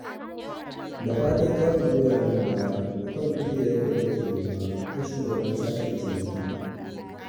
Da fatan za ku goya min baya a kan kujerar da nake nema ta shugabar sashen ciniki